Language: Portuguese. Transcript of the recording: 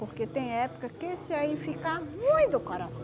Porque tem época que esse aí fica ruim do coração.